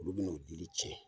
Olu bɛn'o olun tiɲɛ.